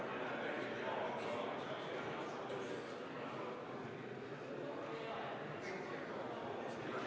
Alustame Riigikogu täiskogu VIII istungjärgu 11. töönädala neljapäevast istungit.